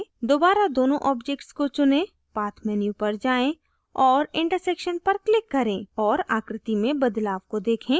दोबारा दोनों objects को चुनें path menu पर जाएँ और intersection पर click करें और आकृति में बदलाव को देखें